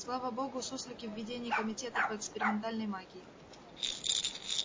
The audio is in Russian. слава богу суслики в ведении комитета по экспериментальной магии